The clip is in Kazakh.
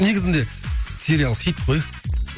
негізінде сериал хит қой